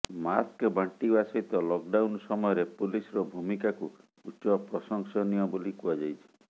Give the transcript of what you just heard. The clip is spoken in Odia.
ମାସ୍କ ବାଣ୍ଟିବା ସହିତ ଲକ୍ ଡାଉନ୍ ସମୟରେ ପୁଲିସର ଭୂମିକାକୁ ଉଚ୍ଚ ପ୍ରଶଂସନୀୟ ବୋଲି କୁହାଯାଇଛି